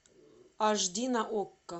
аш ди на окко